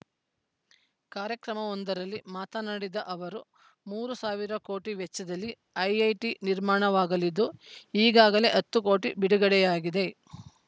ಕಾರ‍್ಯಕ್ರಮವೊಂದರಲ್ಲಿ ಮಾತನಾಡಿದ ಅವರು ಮೂರು ಸಾವಿರ ಕೋಟಿ ವೆಚ್ಚದಲ್ಲಿ ಐಐಟಿ ನಿರ್ಮಾಣವಾಗಲಿದ್ದು ಈಗಾಗಲೇ ಹತ್ತು ಕೋಟಿ ಬಿಡುಗಡೆಯಾಗಿದೆ